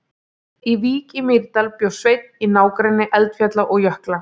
Í Vík í Mýrdal bjó Sveinn í nágrenni eldfjalla og jökla.